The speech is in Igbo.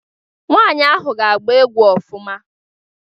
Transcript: Nwaanyị ahụ ga-agba egwu ofụma.